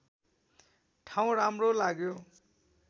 ठाउँ राम्रो लाग्यो